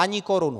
Ani korunu!